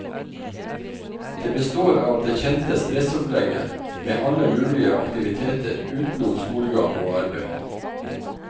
Det består av det kjente stressopplegget med alle mulige aktiviteter utenom skolegang og arbeid.